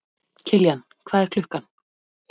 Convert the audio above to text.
Kiljan, hvað er klukkan?